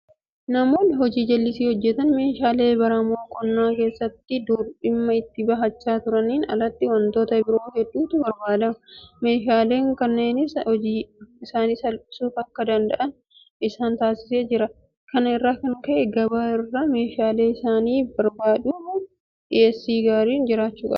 Namoonni hojii jallisii hojjetan meeshaalee baramoo qonna keessatti dur dhimma itti bahachaa turaniin alatti waantota biroo hedduutu barbaadama. Meeshaaleen kunneenis hojii isaanii salphifachuu akka danda'an isaan taasisee jira. Kana irraa kan ka'e gabaa irraa meeshaalee isaaniif barbaadamuuf dhiyeessii gaariin jiraachuu qaba.